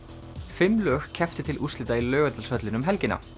fimm lög kepptu til úrslita í Laugardalshöllinni um helgina